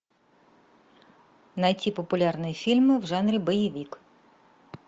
найти популярные фильмы в жанре боевик